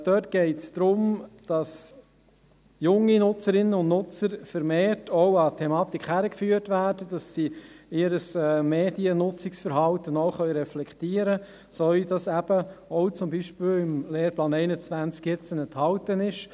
Dort geht es darum, dass junge Nutzerinnen und Nutzer vermehrt auch an die Thematik herangeführt werden, damit sie ihr Mediennutzungsverhalten auch reflektieren können, so wie es jetzt eben auch im Lehrplan 21 enthalten ist.